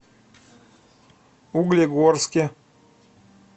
углегорске